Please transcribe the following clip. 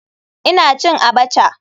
Ina cin abacha.